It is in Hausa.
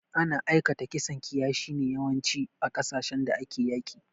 Ana aikata kisan kiyashi ne yawanci, a kasashin da ake yaƙi.